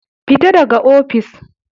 Fita daga ofis.